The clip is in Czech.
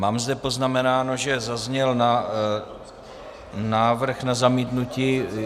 Mám zde poznamenáno, že zazněl návrh na zamítnutí.